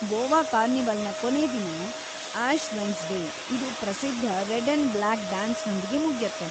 ಗೋವಾ ಕಾರ್ನಿವಲ್‌ನ ಕೊನೇ ದಿನ ಆಷ್ ವೆನ್ಸ್‌ಡೇ, ಇದು ಪ್ರಸಿದ್ಧ ರೆಡ್‌ ಅಂಡ್‌ ಬ್ಲ್ಯಾಕ್‌ ಡ್ಯಾನ್ಸ್‌ನೊಂದಿಗೆ ಮುಗ್ಯತ್ತೆ.